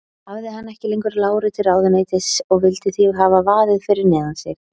Hann hafði ekki lengur láru til ráðuneytis og vildi því hafa vaðið fyrir neðan sig.